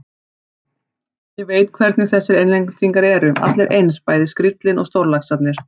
Ég veit hvernig þessir Englendingar eru, allir eins, bæði skríllinn og stórlaxarnir.